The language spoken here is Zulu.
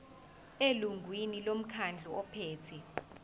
elungwini lomkhandlu ophethe